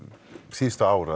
síðustu ár